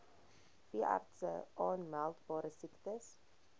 veeartse aanmeldbare siektes